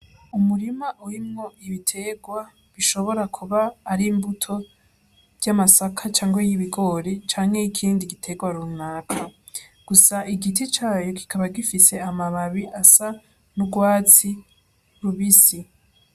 Umurima urimwo ibiterwa bishobora kuba ari imbuto ry'amasaka cange y'ibigori canke y'ikindi giterwa runaka gusa igiti cayo gikaba gifise amababi asa n'urwatsi rubisi.